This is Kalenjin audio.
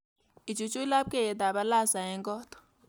Ichuchuch labkeiyetab alasa eng koot